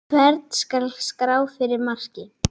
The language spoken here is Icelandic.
Hvern skal skrá fyrir marki?